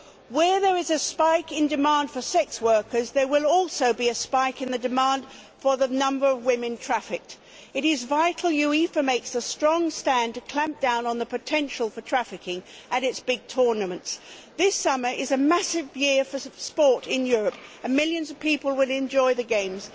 Where there is a spike in the demand for sex workers there will also be a spike in the demand for the number of women trafficked. It is vital that UEFA makes a strong stand to clamp down on the potential for trafficking at its big tournaments. This summer is a massive year for sport in Europe, and millions of people will enjoy the games.